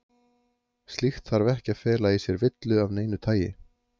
Slíkt þarf ekki að fela í sér villu af neinu tagi.